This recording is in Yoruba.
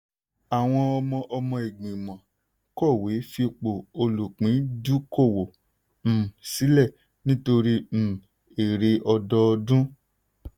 àwọn ọmọ ọmọ igbimọ̀ kọ̀wé fipò olùpìndùúkọ̀wọ̀ um sílẹ̀ nítorí um èrè ọdọdún.